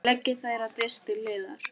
Leggið þær á disk til hliðar.